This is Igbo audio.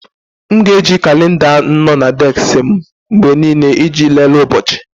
M ga na eji kalenda nno na désik m mgbe niile iji lelee ụbọchị.